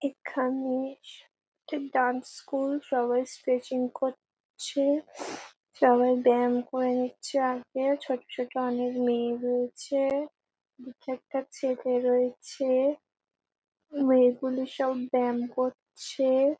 এখানে একটি dance school সবাই স্ট্রেচিং করছে সবাই ব্যাম করে নিচ্ছে আগে ছোট ছোট অনেক মেয়ে রয়েছে দিয়ে কি একটা চেপে রয়েছে। মেয়েগুলি সব ব্যাম করছে ।